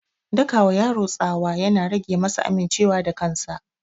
Daka wa yaro tsawa ya na rage masa aminciwa da kansa